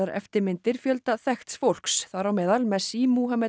eftirmyndir fjölda þekkts fólks þar á meðal messi